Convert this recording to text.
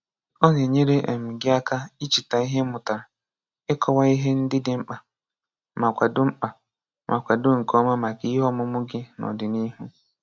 O na-enyere um gị aka icheta ihe i mụtara, ịkọwa ihe ndị dị mkpa, ma kwado mkpa, ma kwado nke ọma maka ihe ọmụmụ gị n'ọdịnihu.